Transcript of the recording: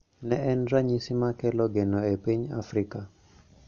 Ne en ranyisi ma kelo geno e piny Afrika